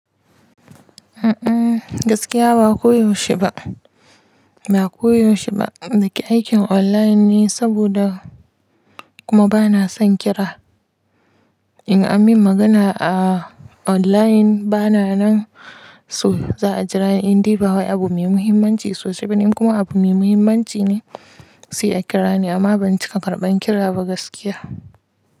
A'a gaskiya ba koyaushe ba, ba koyaushe ba. Aikin online ne saboda kuma bana son kira. In an min magana a online bana nan so za a jira in dai ba wani abu mai muhimmanci sosai bane kuma abu mai muhimmanci ne sai a kira ni amma ban cika karɓan kira ba gaskiya.